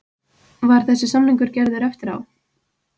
Var þessi samningur gerður eftir á?